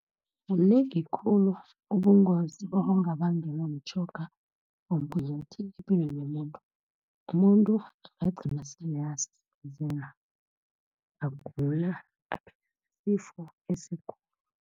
Kunengi khulu ubungozi obungabangelwa mtjhoga womgunyathi epilweni yomuntu. Umuntu angagcina sele agula, aphethwe sisifo esikhulu.